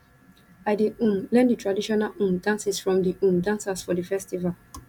i dey um learn di traditional um dances from di um dancers for di festival